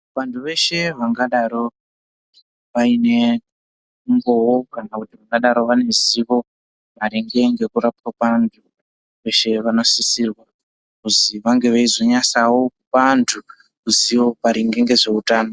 Vantu veshe vangadaro vaine umboo kana kuti vangadaro vaine ziwo maringe ngekurapwa kwaantu veshe vanosisirwa kuzi vange veizonyasawo kupa antu ruziwo maringe ngezveutano.